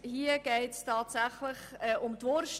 Hier geht es tatsächlich um die Wurst.